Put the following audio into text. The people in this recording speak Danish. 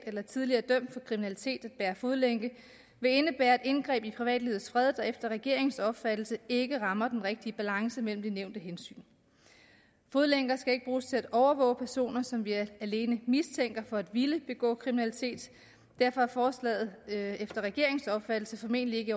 eller tidligere dømt for kriminalitet at bære fodlænke vil indebære et indgreb i privatlivets fred der efter regeringens opfattelse ikke rammer den rigtige balance mellem de nævnte hensyn fodlænker skal ikke bruges til at overvåge personer som vi alene mistænker for at ville begå kriminalitet og derfor er forslaget efter regeringens opfattelse formentlig ikke i